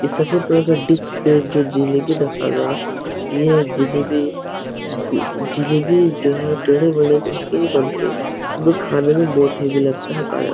ये सफ़ेद कलर का डिक्स पे जो जिलेबी रखा गा ये जिलेबी गु जिलेबी जो है टेढ़े मेढ़े होके ही बनते है। दो खाने में बहोत ही लागता है ताजा।